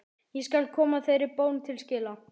Ég skal koma þeirri bón til skila.